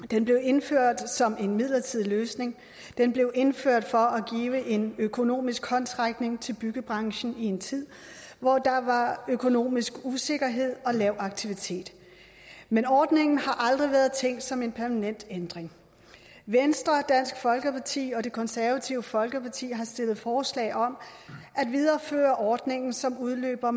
den blev indført som en midlertidig løsning den blev indført for at give en økonomisk håndsrækning til byggebranchen i en tid hvor der var økonomisk usikkerhed og lav aktivitet men ordningen har aldrig været tænkt som en permanent ændring venstre dansk folkeparti og det konservative folkeparti har stillet forslag om at videreføre ordningen som udløber